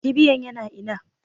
Kibiyan yana ina?